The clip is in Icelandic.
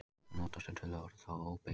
Það er líka notað sem töluorð og þá óbeygt.